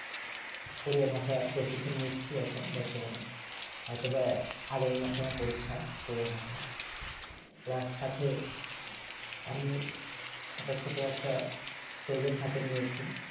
Korea ভাষা প্রশিক্ষণ নিচ্ছি এখন বর্তমানে এইটা বাই আগামী মাসে আমার পরীক্ষা কোরিয়া বাসায় plus সাথে আমি একটা ছোট একটা project হাথে নিয়েছি